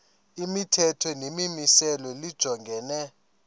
imithetho nemimiselo lijongene